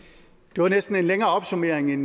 det var næsten en længere opsummering